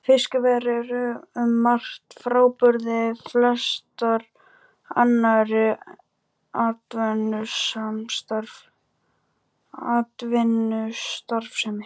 Fiskveiðar eru um margt frábrugðnar flestri annarri atvinnustarfsemi.